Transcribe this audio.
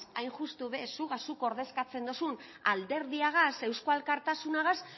hain justu be zuk ordezkatzen duzun alderdiagaz eusko alkartasunagaz